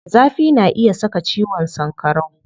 Zafi na iya saka ciwon sankarau.